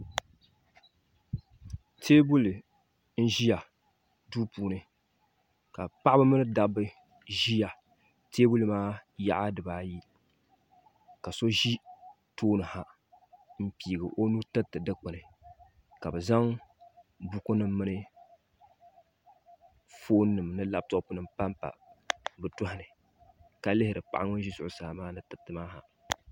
Teebuli n ʒi duu puuni ka paɣaba mini Dabba ʒi teebuli maa yaɣa ayi ka so ʒi tooni ha n piigi o nuu tiriti dikpuni ka bi zaŋ buku nim mini foon nim ni labtop nim panpa bi tooni ka lihiro paɣa ŋun ʒi zuɣu saa maa ni tiriti maa ha